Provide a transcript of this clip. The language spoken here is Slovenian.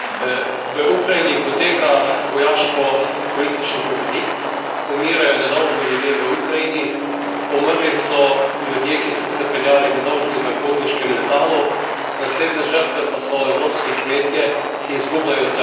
V Ukrajini poteka vojaško politični konflikt, umirajo nedolžni ljudje v Ukrajini, umrli so ljudje, ki so se peljali nedolžni v potniškem letalu, naslednje žrtve pa so evropski kmetje, ki izgubljajo trg.